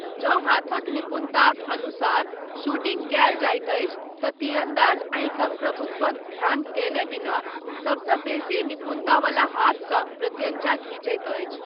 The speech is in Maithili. जँ हाथक निपुणताक अनुसार शूटिंग कयल जाइत अछि तँ तीरन्दाज आँखिक प्रभुत्वक ध्यान कयने बिना सबसँ बेसी निपुणतावला हाथसँ प्रत्यञ्चा घीचैत अछि।